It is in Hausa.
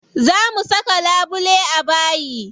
Za mu saka labule a bayi.